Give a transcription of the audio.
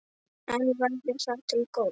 En væri það til góðs?